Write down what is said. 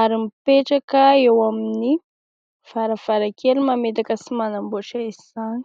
ary mipetraka eo amin'ny varavarankely mametaka sy manamboatra izany.